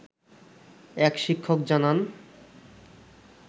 এক শিক্ষক জানান